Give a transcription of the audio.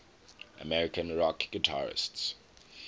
american rock guitarists